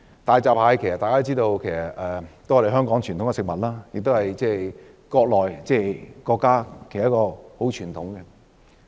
大家都知道大閘蟹是香港的傳統食物，亦是國家的傳統食物。